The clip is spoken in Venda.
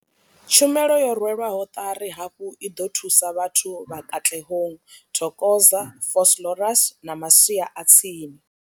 Tshumelo yo rwelwaho ṱari hafhu i ḓo thusa vhathu vha Katlehong, Thokoza, Vosloorus na masia a tsini.